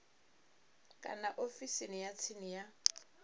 kana ofisini ya tsini ya